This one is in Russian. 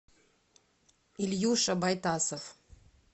ильюша байтасов